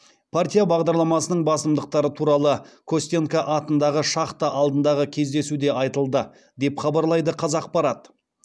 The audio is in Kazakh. партия бағдарламасының басымдықтары туралы костенко атындағы шахта алдындағы кездесуде айтылды деп хабарлайды қазақпарат